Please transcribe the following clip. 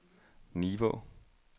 Nivå